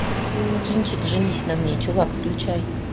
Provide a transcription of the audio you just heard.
кинчик женись на мне чувак включай